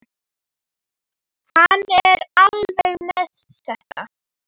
Hann er alveg með þetta.